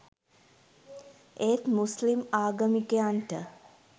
ඒත් මුස්ලිම් ආගමිකයන්ට